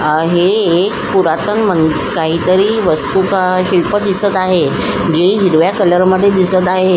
आहे पुरातन काहीतरी वस्तू का शिल्प दिसत आहे जे हिरव्या कलर मध्ये दिसत आहे.